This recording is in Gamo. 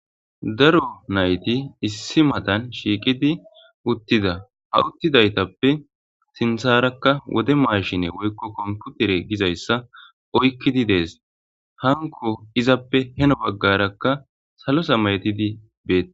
daro nayti issi matan shiiqidi uttida ha uttidaytappe sintharakka wode maarshine woykko komputere gizayssa oykkidi dees hanko izappe heno baggarakka salosa maytidi beeta